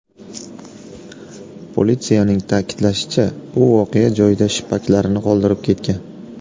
Politsiyaning ta’kidlashicha, u voqea joyida shippaklarini qoldirib ketgan.